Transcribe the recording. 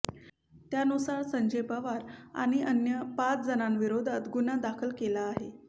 त्यानुसार संजय पवार आणि अन्य पाच जणांविरोधात गुन्हा दाखल केला आहे